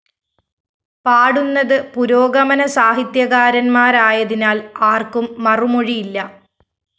പാടുന്നത്പു രോഗമനസാഹിത്യകാരന്‍മാരായതിനാല്‍ ആര്‍ക്കും മറുമൊഴിയില്ല